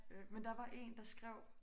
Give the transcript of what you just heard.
Øh men der var en der skrev